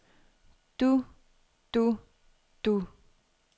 du du du